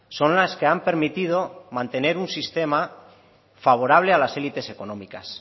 son las que han permitido mantener un sistema favorable a las élites económicas